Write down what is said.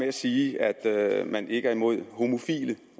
at sige at man ikke er imod homofile